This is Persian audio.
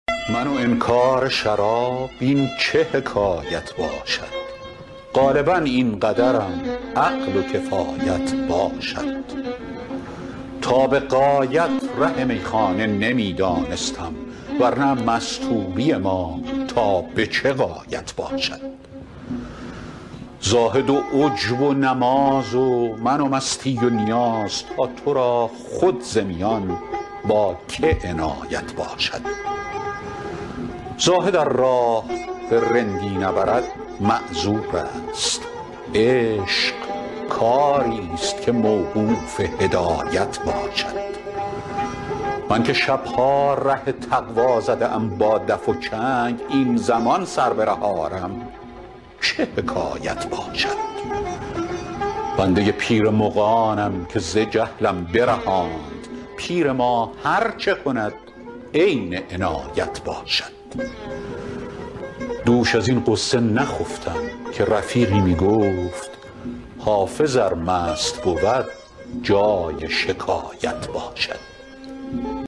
من و انکار شراب این چه حکایت باشد غالبا این قدرم عقل و کفایت باشد تا به غایت ره میخانه نمی دانستم ور نه مستوری ما تا به چه غایت باشد زاهد و عجب و نماز و من و مستی و نیاز تا تو را خود ز میان با که عنایت باشد زاهد ار راه به رندی نبرد معذور است عشق کاری ست که موقوف هدایت باشد من که شب ها ره تقوا زده ام با دف و چنگ این زمان سر به ره آرم چه حکایت باشد بنده پیر مغانم که ز جهلم برهاند پیر ما هر چه کند عین عنایت باشد دوش از این غصه نخفتم که رفیقی می گفت حافظ ار مست بود جای شکایت باشد